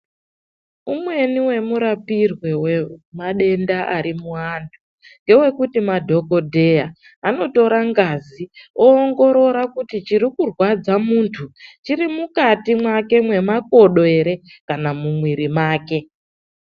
Umweni wemurapirwe wemadenda ari muvantu, ngewekuti madhogodheya anotora ngazi, oongorora kuti chirikurwadza muntu chiri mukati make memakodo ere kana kuti mumwiri make.